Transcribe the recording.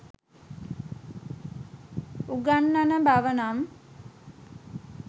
උගන්නන බව නම්